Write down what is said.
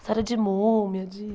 História de múmia, de...